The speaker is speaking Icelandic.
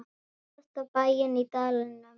Síðasta bæinn í dalnum.